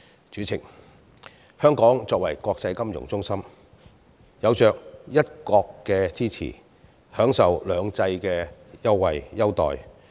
主席，香港作為國際金融中心，有着"一國"的支持，享受"兩制"的優待。